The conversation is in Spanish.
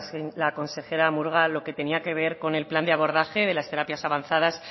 la consejera murga lo que tenía que ver con el plan de abordaje de las terapias avanzadas